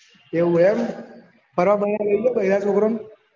એવું એમ ફરવા બરવા લઇ જાવ બયડા ના છોકરા ને